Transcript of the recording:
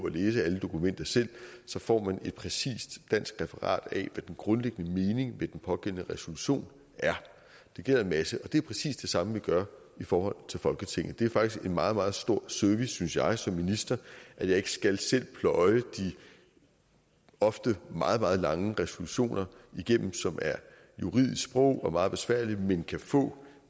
at læse alle dokumenter selv og så får man et præcist dansk referat af hvad den grundlæggende mening med den pågældende resolution er det gælder en masse ting det er præcis det samme vi gør i forhold til folketinget det er faktisk en meget meget stor service synes jeg som minister at jeg ikke selv skal pløje de ofte meget meget lange resolutioner igennem som er juridisk sprog og meget besværligt men kan få